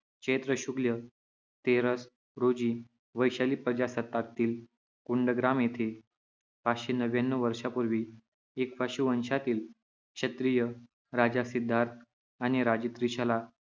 चैत्र शुक्ल तेरस रोजी वैशाली प्रजासत्ताकातील कुंडग्राम येथे पाचशे नव्यान्नव वर्षांपूर्वी इक्ष्वाकू वंशातील क्षत्रिय राजा सिद्धार्थ आणि राणी त्रिशाला